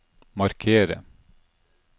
markere